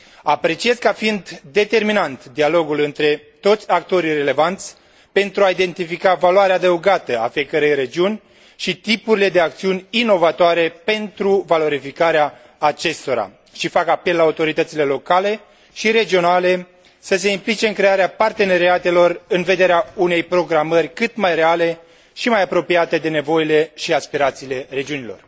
Apreciez ca fiind determinant dialogul între toți actorii relevanți, pentru a identifica valoarea adăugată a fiecărei regiuni și tipurile de acțiuni inovatoare pentru valorificarea acestora și fac apel la autoritățile locale și regionale să se implice în crearea parteneriatelor, în vederea unei programări cât mai reale și mai apropiate de nevoile și aspirațiile regiunilor